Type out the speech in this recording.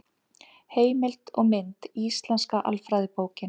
Heimild og mynd: Íslenska alfræðiorðabókin.